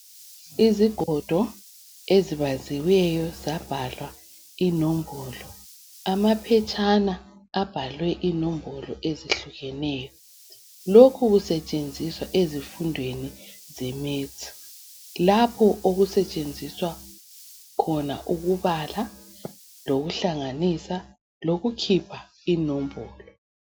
Izigodo ezibaziwe zabhalwa inombolo , amaphetshana abhalwe inombolo ezihlukeneyo lokhu kusetshenziswe ezindaweni zemaths lapha osetshenziswayo ubala, hlanganisa lokukhipha inombolo.